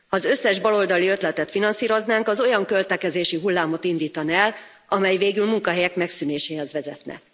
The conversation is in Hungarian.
Ha az összes baloldali ötletet finanszíroznánk, az olyan költekezési hullámot indítana el, amely végül munkahelyek megszűnéséhez vezetne.